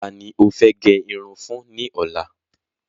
Ta ni ó fẹ́ gẹ irun fún ní ọ̀la?